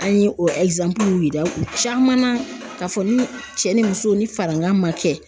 An ye o yir'u caman na k'a fɔ ni cɛ ni muso ni farankan ma kɛ